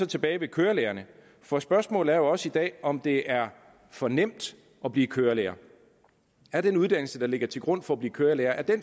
tilbage ved kørelærerne for spørgsmålet er jo også i dag om det er for nemt at blive kørelærer er den uddannelse der ligger til grund for at blive kørelærer